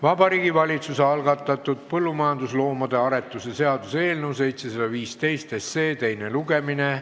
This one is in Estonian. Vabariigi Valitsuse algatatud põllumajandusloomade aretuse seaduse eelnõu teine lugemine.